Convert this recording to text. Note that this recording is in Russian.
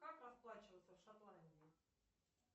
как расплачиваться в шотландии